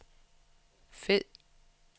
fed